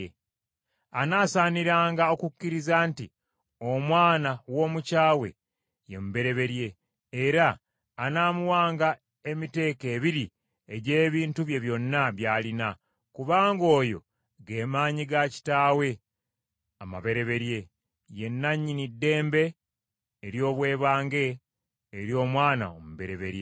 Anaasaaniranga okukkiriza nti omwana w’omukyawe ye mubereberye, era anaamuwanga emiteeko ebiri egy’ebintu bye byonna by’alina, kubanga oyo ge maanyi ga kitaawe amabereberye. Ye nannyini ddembe ery’obwebange ery’omwana omubereberye.